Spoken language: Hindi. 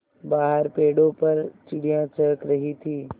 बाहर पेड़ों पर चिड़ियाँ चहक रही थीं